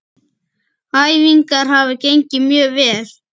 Æfingar hafa gengið mjög vel.